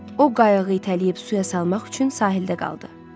O qayığı itələyib suya salmaq üçün sahildə qaldı.